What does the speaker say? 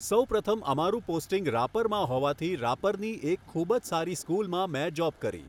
સૌપ્રથમ અમારું પોસ્ટિંગ રાપરમાં હોવાથી રાપરની એક ખૂબ જ સારી સ્કૂલમાં મેં જોબ કરી